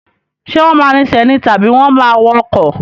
Ṣé wọ́n máa rinsẹ̀ ni tàbí wọ́n máa wọ ọkọ̀?